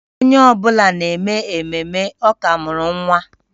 Onye ọ bụla na-eme ememme, ọ ka mụrụ nwa